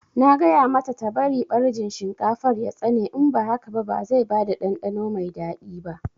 Na gaya mata ta bari ɓarjin shinkafar ya tsane in ba haka ba zai bada ɗanɗano mai daɗi ba